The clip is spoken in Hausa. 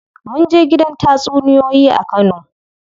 Munje gidan tatsuniyoyi a kano.